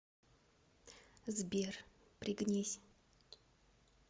сбер пригнись